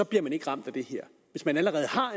bliver man ikke ramt af det her hvis man allerede har